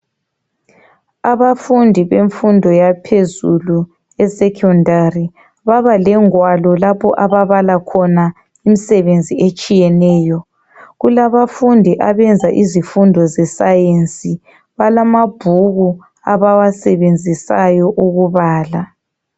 Abafundi bemfundi yaphezulu esekhondari babalengwalo lapha ababala khona imisebenzi etshiyeneyo kulabafundi abenza izifundo ze sayensi balamabhuku abawasebenzisayo ukubala.